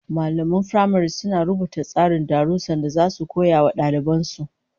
Mallaman firamare suna rubuta tsarin darussan da zasu koya wa daliban su